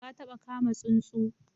Ka taba kama tsuntsu?